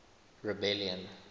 rebellion